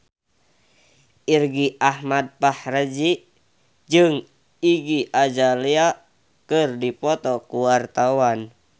Irgi Ahmad Fahrezi jeung Iggy Azalea keur dipoto ku wartawan